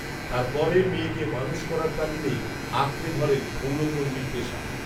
তার পরে মেয়েকে মানুষ করার তাগিদেই আঁকড়ে ধরেন ক্ষৌরকর্মীর পেশা